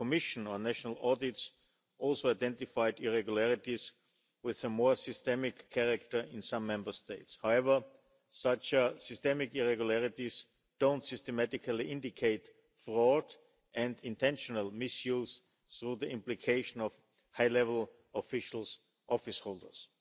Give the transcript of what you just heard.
The Commission on National Audits also identified irregularities with some more systemic character in some Member States. However, such systemic irregularities don't systematically indicate fraud and intentional misuse through the implication of high level officials office holders.